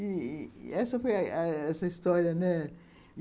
E e essa foi a a essa história, né?